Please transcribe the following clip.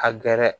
A gɛrɛ